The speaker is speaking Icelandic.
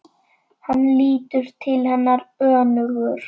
Hann lítur til hennar önugur.